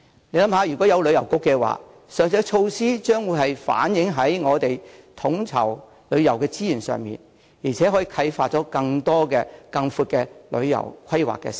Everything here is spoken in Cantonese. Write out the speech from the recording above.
試想一下，如設有一個旅遊局，上述設施便會反映在統籌旅遊的資源上，而且可以啟發出更多、更寬的旅遊規劃思路。